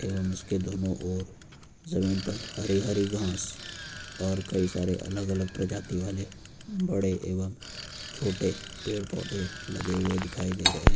के दोनों ओर जमीन पर हरी हरी घास और कई सारे अलग अलग प्रजाति वाले बड़े एवं छोटे पेड़ पौधे लगे हुए दिखाई दे रहे हैं।